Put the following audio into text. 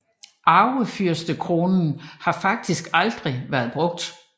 Arvefyrstekronen har faktisk aldrig vært brugt